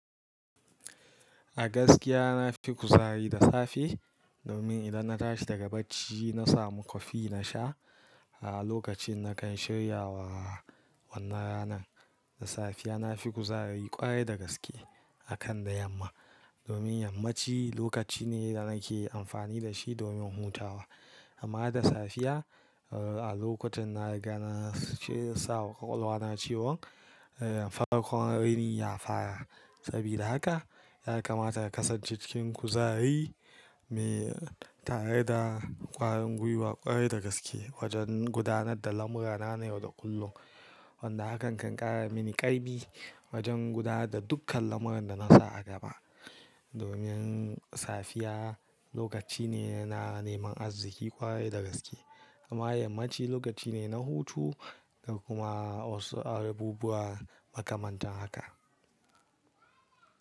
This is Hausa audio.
A gaskiya na fi kuzari da safe domin idan na tashi daga bacci na samu kofi na sha a lokacin na kan shirya wa wannan ranan. Da safiya na fi kuzari kwarai da gaske akan da yamma. Domin yammaci lokaci ne da nake amfani da shi domin hutawa. Amma da safiya, a lokacin na riga na ce sawa ƙwaƙwalwa na cewan farkon raini ya fara. Sabida haka ya kamata a kasance cikin kuzari me tare da ƙwarin gwiwa ƙwarai da gaske wajen gudanar da lamurana na yau da kullum. Wanda hakan kan ƙara mini ƙaimi wajen gudanar da dukkan lamuran da na sa a gaba. Domin safiya lokaci ne na neman arziki ƙwarai da gaske amma yammaci lokaci ne na hutu da kuma wasu abubuwa makamantan haka.